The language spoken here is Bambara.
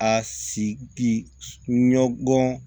A si bi ɲɔ gɔn